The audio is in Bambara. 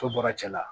So bɔra cɛ la